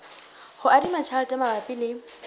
ho adima tjhelete mabapi le